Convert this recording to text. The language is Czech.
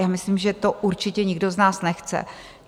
Já myslím, že to určitě nikdo z nás nechce.